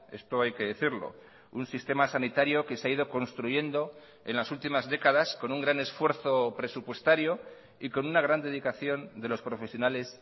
esto hay que decirlo un sistema sanitario que se ha ido construyendo en las últimas décadas con un gran esfuerzo presupuestario y con una gran dedicación de los profesionales